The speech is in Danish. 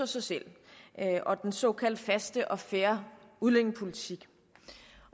sig selv og den såkaldt faste og fair udlændingepolitik i